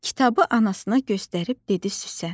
Kitabı anasına göstərib dedi Süsen.